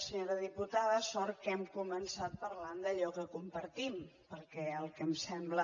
senyora diputada sort que hem començat parlant d’allò que compartim perquè el que em sembla